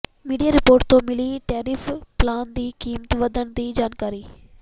media report ਤੋਂ ਮਿਲੀ tariff plan ਦੀ ਕੀਮਤ ਵਧਣ ਦੀ ਜਾਣਕਾਰੀ